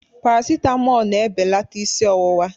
Parasitamọl na-ebelata isi ọwụwa.